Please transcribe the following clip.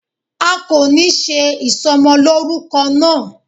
A kò ní ṣe ìsọmọlórúkọ náà